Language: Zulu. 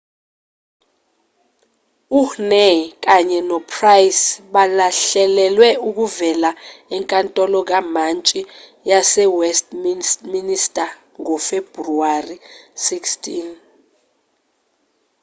uhhne kanye nopryce bahlelelwe ukuvela enkantolo kamatshi yasewestminster ngofebruwari 16